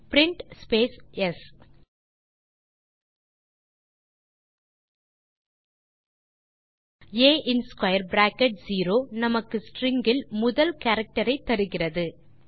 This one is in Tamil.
பிரின்ட் ஸ் ஆ இன் ஸ்க்வேர் பிராக்கெட் செரோ நமக்கு ஸ்ட்ரிங் இல் முதல் கேரக்டர் ஐ தருகிறது